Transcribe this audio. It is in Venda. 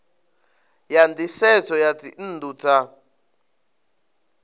ya nisedzo ya dzinnu dza